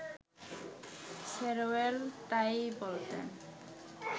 শেরওয়েল তাই-ই বলতেন